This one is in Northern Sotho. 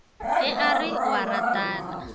ge a re o ratana